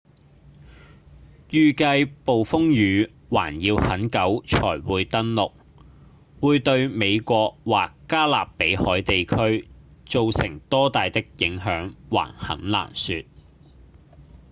預計暴風雨還要很久才會登陸會對美國或加勒比海地區造成多大的影響還很難說